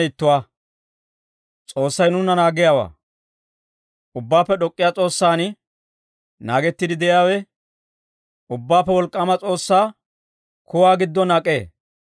Ubbaappe D'ok'k'iyaa S'oossan naagettiide de'iyaawe, Ubbaappe Wolk'k'aama S'oossaa kuwaa giddon ak'ee;